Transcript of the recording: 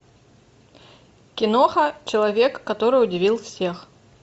киноха человек который удивил всех